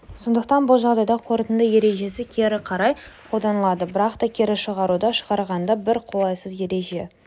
сондықтан бұл жағдайда қорытынды ережесі кері қарай қолданылады бірақ та кері шығаруды шығарғанда бір қолайсыз ереже